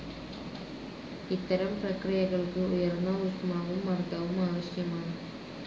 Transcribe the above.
ഇത്തരം പ്രക്രിയകൾക്ക് ഉയർന്ന ഊഷ്മാവും മർദവും ആവശ്യമാണ്.